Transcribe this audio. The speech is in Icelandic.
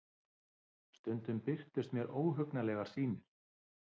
Stundum birtust mér óhugnanlegar sýnir.